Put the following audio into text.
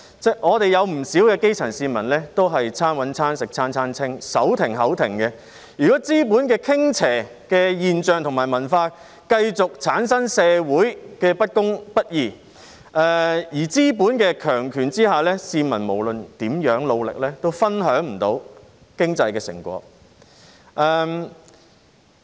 不少基層市民都是"餐搵餐食餐餐清"、"手停口停"，如果資本傾斜的現象及文化繼續產生社會的不公不義，在資本的強權下，市民無論如何努力都分享不到經濟的成果。